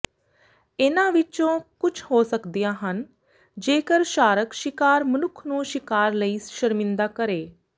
ਇਹਨਾਂ ਵਿਚੋਂ ਕੁਝ ਹੋ ਸਕਦੀਆਂ ਹਨ ਜੇਕਰ ਸ਼ਾਰਕ ਸ਼ਿਕਾਰ ਮਨੁੱਖ ਨੂੰ ਸ਼ਿਕਾਰ ਲਈ ਸ਼ਰਮਿੰਦਾ ਕਰੇ